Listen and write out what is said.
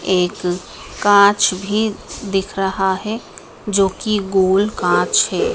एक कांच भी दिख रहा हैं जो की गोल कांच हैं।